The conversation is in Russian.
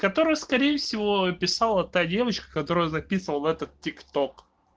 который скорее всего писала та девочка которая записывала этот тик ток